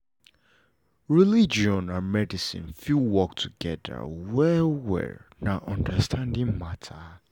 religion and medicine fit work together well well na understanding matter